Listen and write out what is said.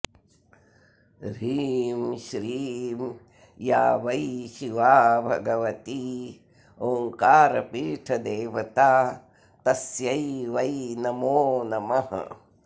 ह्रीं श्रीं या वै शिवा भगवती ओङ्कारपीठदेवता तस्यै वै नमो नमः